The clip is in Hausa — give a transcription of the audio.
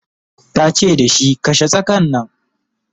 tace da shi "kashe tsakan Nan!"